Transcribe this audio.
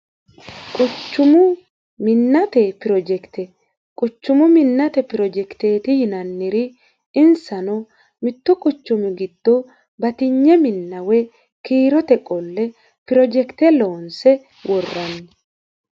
Quchumu Minnate Projekite Quchumu minnate projekiteeti yinanniri insano: mittu quchumu giddo batinye minna woyi kiiro qolle projekite loonse worranni.